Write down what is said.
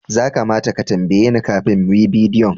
Za kamata ka tambaye ni kafin mu yi bidiyo